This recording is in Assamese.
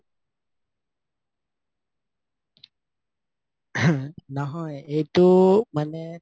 নহয় এইটো মানে